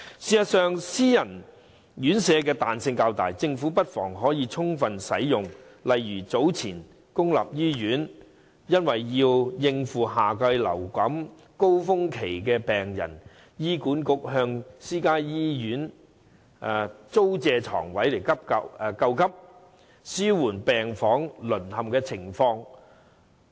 事實上，私營院舍的彈性較大，政府不妨充分利用，例如早前公立醫院為應付夏季流感高峰期的病人，醫院管理局便向私家醫院租借床位救急，紓緩病房淪陷的情況。